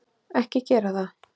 Ekki gera það.